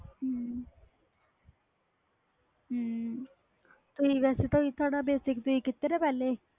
ਹੂੰ ਹੂੰ ਤੁਸੀ ਵੈਸੇ basic ਕੀਤਾ ਪਹਿਲੇ